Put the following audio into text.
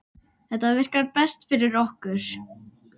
Þetta virkar best fyrir okkur.